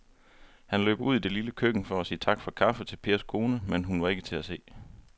Han løb ud i det lille køkken for at sige tak for kaffe til Pers kone, men hun var ikke til at se.